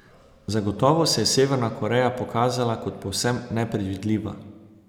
Zagotovo se je Severna Koreja pokazala kot povsem nepredvidljiva.